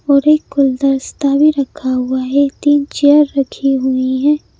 और एक कुल दस्ता भी रखा हुआ है तीन चेयर रखी हुई हैं।